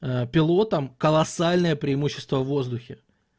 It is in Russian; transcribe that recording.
а пилотам колоссальное преимущество в воздухе